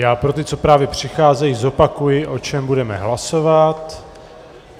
Já pro ty, co právě přicházejí, zopakuji, o čem budeme hlasovat.